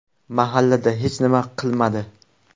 Mahalla hech nima qilmadi.